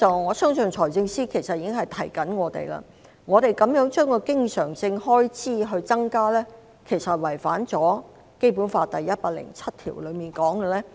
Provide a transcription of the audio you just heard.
我相信財政司司長在提醒我們，經常性開支的增幅，其實違反了《基本法》第一百零七條所訂立的原則。